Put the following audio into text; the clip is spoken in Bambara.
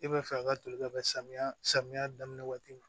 E bɛ fɛ an ka toli ka bɛn samiya samiya daminɛ waati ma